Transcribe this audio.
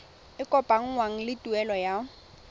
e kopanngwang le tuelo ya